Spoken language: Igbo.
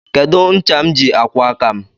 Kedu ncha m ji akwọ aka m?